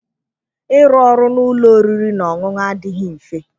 Ịrụ ọrụ na ụlọ oriri na ọṅụṅụ adịghị mfe.